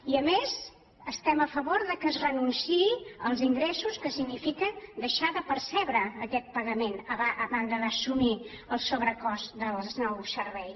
i a més estem a favor que es renunciï als ingressos que significa deixar de percebre aquest pagament a banda d’assumir el sobrecost del nou servei